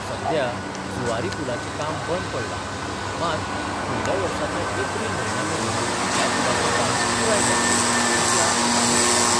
सद्या झुआरी पुलाचे काम बंद पडला, मात, फुडल्य वर्साच्या एप्रिल म्हयन्यामेरेन ह्या पुलाचे काम पुराय जातले अशी आस्त ताणी उक्तायली.